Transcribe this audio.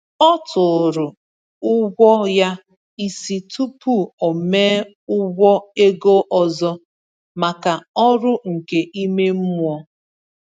Ọ tụrụ ụgwọ ya isi tupu o mee ụgwọ ego ọzọ maka ọrụ nke ime mmụọ.